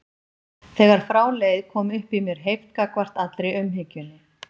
Þegar frá leið kom upp í mér heift gagnvart allri umhyggjunni.